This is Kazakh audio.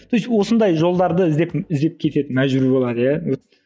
то есть осындай жолдарды іздеп іздеп кетеді мәжбүр болады иә